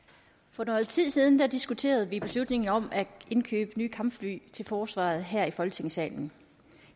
for noget tid siden diskuterede vi beslutningen om at indkøbe nye kampfly til forsvaret her i folketingssalen